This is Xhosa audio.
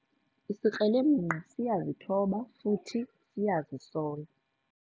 Isikrelemnqa siyazithoba futhi siyazisola.